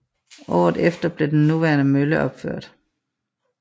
Året efter blev den nuværende mølle opført